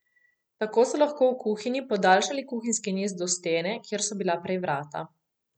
Tako so lahko v kuhinji podaljšali kuhinjski niz do stene, kjer so bila prej vrata.